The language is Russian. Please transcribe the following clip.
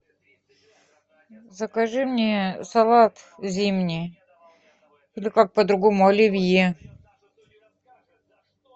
закажи мне салат зимний или как по другому оливье